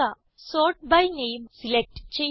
sort by name select ചെയ്യുക